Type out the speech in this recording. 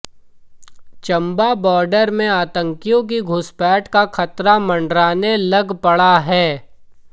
Chamba border में आतंकियों की घुसपैठ का खतरा मंडराने लग पड़ा है